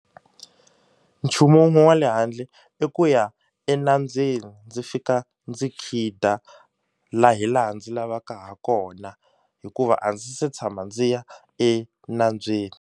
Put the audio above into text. Nchumu wun'we wa le handle i ku ya enambyeni ndzi fika ndzi khida la hi laha ndzi lavaka ha kona hikuva a ndzi se tshama ndzi ya enambyeni.